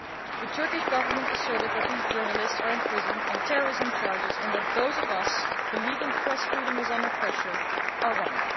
The Turkish Government asserted that these journalists are in prison on terrorism charges and that those of us who believe press freedom is under pressure are wrong.